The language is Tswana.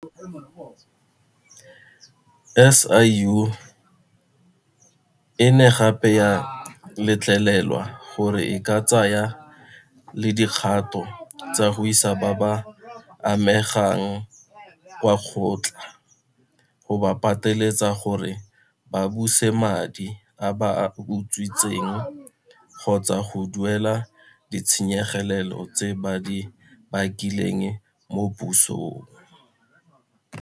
SIU e ne gape ya letlelelwa gore e ka tsaya le dikgato tsa go isa ba ba amegang kwa kgotla go ba pateletsa gore ba buse madi a ba a utswitseng kgotsa go duelela ditshenyegelo tse ba di bakileng mo pusong.